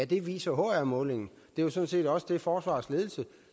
det viser hr målingen det jo sådan set også det forsvarets ledelse